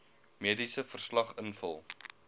mediese verslag invul